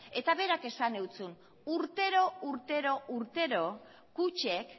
eta berak esan zuen urtero urtero urtero kutxek